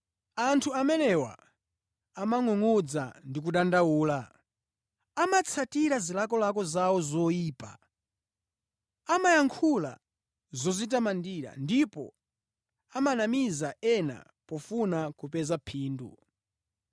Anthu amenewa amangʼungʼudza ndi kudandaula. Amatsatira zilakolako zawo zoyipa. Amayankhula zodzitamandira ndipo amanamiza ena pofuna kupeza phindu.